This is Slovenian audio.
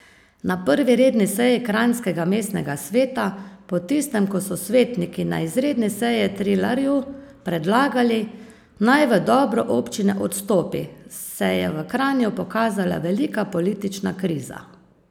Na prvi redni seji kranjskega mestnega sveta po tistem, ko so svetniki na izredni seji Trilarju predlagali, naj v dobro občine odstopi, se je v Kranju pokazala velika politična kriza.